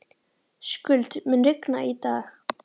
Skuld, mun rigna í dag?